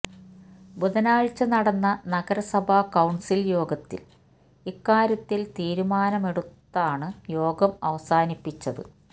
ബുധനാഴ്ച നടന്ന നഗരസഭാ കൌൺസിൽ യോഗത്തിൽ ഇക്കാര്യത്തിൽ തീരുമാനമെടുത്താണ് യോഗം അവസാനിപ്പിച്ചത്